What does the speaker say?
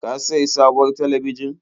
Ka sayi sabuwar talabijin?